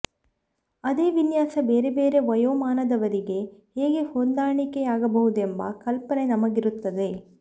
ಅದೇ ವಿನ್ಯಾಸ ಬೇರೆ ಬೇರೆ ವಯೋಮಾನದವರಿಗೆ ಹೇಗೆ ಹೊಂದಾಣಿಕೆಯಾಗಬಹುದೆಂಬ ಕಲ್ಪನೆ ನಮಗಿರುತ್ತದೆ